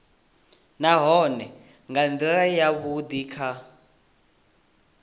nahone nga ndila yavhudi kha